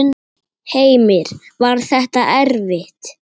Heimir: Var þetta erfitt?